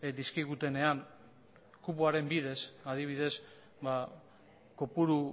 dizkigutenean kupoaren bidez adibidez kopuru